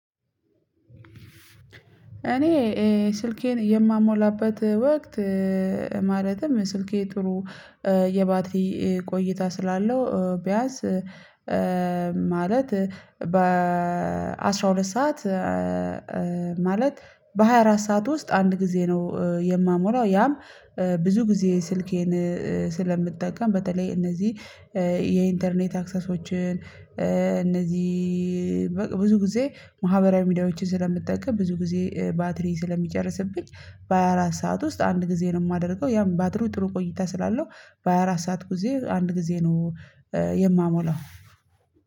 እኔ ስልኬን የማሞላበት ወቅት ማለትም ስልኬ ጥሩ የባትሪ ቆይታ ስላለው ቢያንስ ማለት በአስራ ሁለት ሰዓት ማለት በሃያ አራት ሰዓት ውስጥ አንድ ጊዜ ነው የማሞላው። ያም ብዙ ጊዜ ስልኬን ስለምጠቀም በተለይ እነዚህ የኢንተርኔት አክሰሶችን እነዚህ በቃ ብዙ ጊዜ ማህበራዊ ሚዲያዎችን ስለምትጠቀም ብዙ ጊዜ ባትሪ ስለሚጨርስብኝ። በሃያ አራት ሰዓት ውስጥ አንድ ጊዜ ነው የማደርገው ያም ባትሪው ጥሩ ቆይታ ስላለው በሃያ አራት ሰዓት ጊዜ አንድ ጊዜ ነው የማሞላው